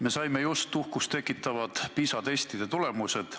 Me saime just uhkust tekitavad PISA testide tulemused.